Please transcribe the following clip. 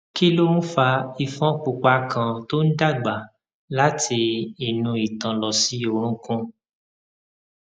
kí ló ń fa ifon pupa kan tó ń dàgbà láti inú itan lọ sí orunkun